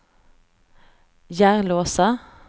Järlåsa